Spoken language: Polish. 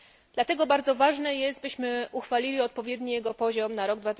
Dlatego bardzo ważne jest, byśmy uchwalili odpowiedni jego poziom na rok